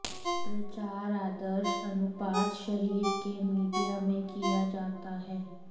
प्रचार आदर्श अनुपात शरीर के मीडिया में किया जाता है